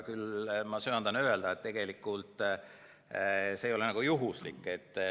Küll aga söandan ma öelda, et see ei ole juhuslik.